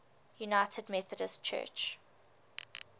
united methodist church